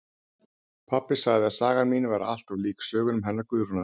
Pabbi sagði að sagan mín væri allt of lík sögunum hennar Guðrúnar